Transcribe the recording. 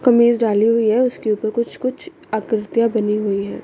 कमीज डाली हुई है उसके ऊपर कुछ कुछ आकृतियां बनी हुई हैं।